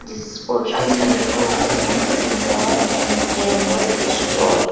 जिस पोस्टर में लिखा हुआ Aman Singar and general store.